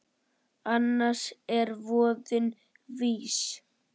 Annars er voðinn vís.